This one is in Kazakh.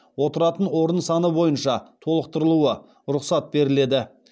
отыратын орын саны бойынша толықтырылуы рұқсат беріледі